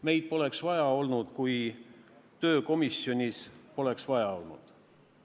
Meid poleks vaja olnud, kui tööd komisjonis poleks vaja olnud.